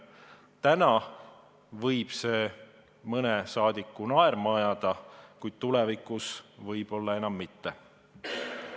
Täna võib see mõne rahvasaadiku naerma ajada, tulevikus võib-olla enam mitte.